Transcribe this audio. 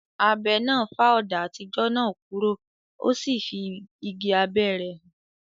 Abẹ náà fá ọ̀dà àtijọ́ náà kúrò, o sì fí igi abẹ́ rẹ̀ hàn.